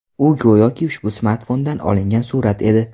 U, go‘yoki ushbu smartfondan olingan surat edi.